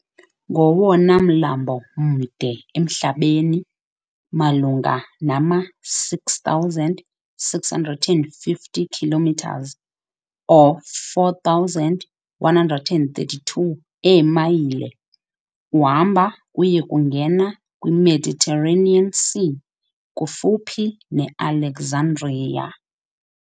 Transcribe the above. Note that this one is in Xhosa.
Ngowona mlambo mde emhlabeni, malunga nama- 6,650 km or 4,132 eemayile, uhamba uye kungena kwi Mediterranean Sea kufuphi ne-Alexandria.